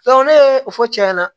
ne ye o fɔ cɛ ɲɛna